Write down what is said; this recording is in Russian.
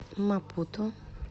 мапуту